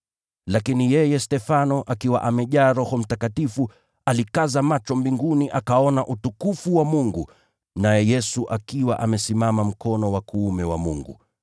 Lakini yeye Stefano, akiwa amejaa Roho Mtakatifu, alikaza macho mbinguni, akaona utukufu wa Mungu, na Yesu akiwa amesimama mkono wa kuume wa Mungu.